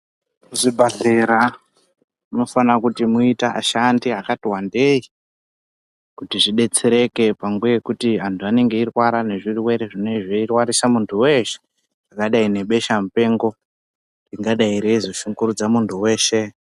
Muzvibhedhlera munofanira kuti muite vashandi vakati wandei kuti zvibetsereke panguva yekuti antu anenga eirwara ngechirwere chanetsa muntu weshe chakadai ngebesha mupengo ringadai reizoshungurudza muntu weshe .